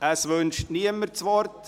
– Es wünscht niemand das Wort.